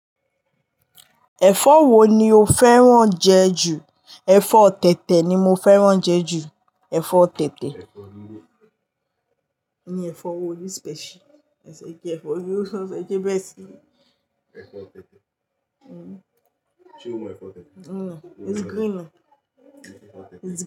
Ẹ̀fọ́ wo ni o fẹ́ràn jẹ ju? Ẹ̀fọ́ tẹ̀tẹ̀ ni mo fẹ́ràn jẹ ju, ẹ̀fọ́ tẹ̀tẹ̀ o ṣe ń sọ ẹ kí ẹ bẹ́ẹ̀ sí i. Ẹ fọ̀ tẹ́tẹ́. Uhm. Ṣé ó mọ ẹfọ̀ tẹ́tẹ́? No. O lè rí i ni? Ǹjẹ́